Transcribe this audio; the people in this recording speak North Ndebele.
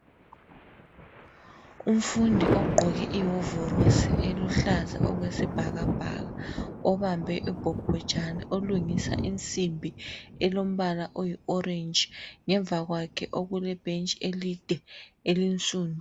Umfundi ogqoke iwovorosi eluhlaza okwesibhakabhaka obambe ubhobhojana olungisa insimbi elombala oyi orange. Ngemva kwakhe okule bhentshi elide elinsundu.